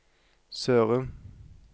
Sørum